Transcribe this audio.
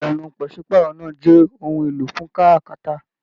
Ìlànà pàsepàárọ̀ náà jẹ ohùn èlò fún káràkátà.